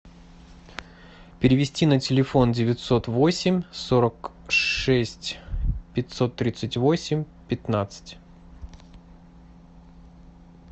перевести на телефон девятьсот восемь сорок шесть пятьсот тридцать восемь пятнадцать